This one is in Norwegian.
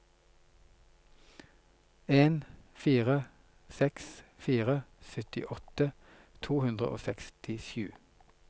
en fire seks fire syttiåtte to hundre og sekstisju